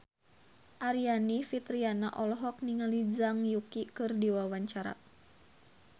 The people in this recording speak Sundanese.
Aryani Fitriana olohok ningali Zhang Yuqi keur diwawancara